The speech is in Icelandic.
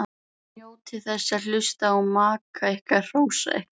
Njótið þess að hlusta á maka ykkar hrósa ykkur.